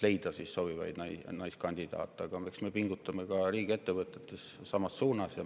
Aga eks me ka riigiettevõtetes pingutame selles suunas.